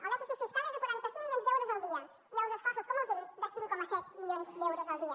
el dèficit fiscal és de quaranta cinc milions d’euros al dia i els esforços com els dic de cinc coma set milions d’euros al dia